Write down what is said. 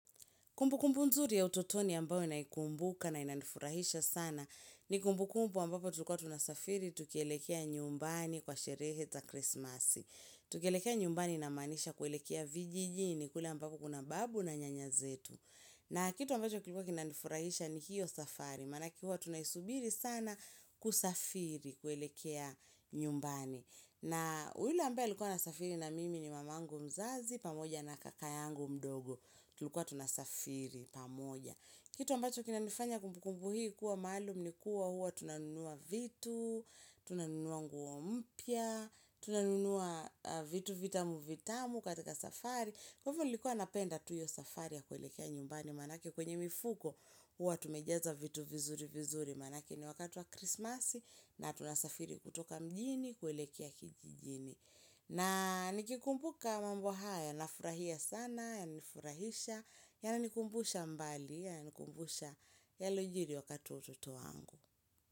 Kumbukumbu mzuri ya utotoni ambao naikumbuka na inanifurahisha sana ni kumbukumbu ambapo tulikua tunasafiri tukielekea nyumbani kwa sherehe za krismasi. Tukielekea nyumbani namaanisha kuelekea vijijini kule ambapo kuna babu na nyanya zetu. Na kitu ambacho kilikuwa kinanifurahisha ni hiyo safari maanake huwa tunaisubiri sana kusafiri kuelekea nyumbani. Na ule ambaye alikuwa anasafiri na mimi ni mamangu mzazi pamoja na kaka yangu mdogo. Tulikua tunasafiri pamoja. Kitu ambacho kinanifanya kumbukumbu hii kuwa maalum ni kuwa huwa tunanunua vitu, tunanunua nguo mpya, tunanunua vitu vitamu vitamu katika safari. Kwa ivo nilikuwa napenda tu iyo safari ya kuelekea nyumbani maanake kwenye mifuko huwa tumejaza vitu vizuri vizuri maanake ni wakati wa krismasi na tunasafiri kutoka mjini, kuelekea kijijini na nikikumbuka mambo haya, nafurahia sana, yananifurahisha Yananikumbusha mbali, yananikumbusha yalojiri wakati wa utoto wangu.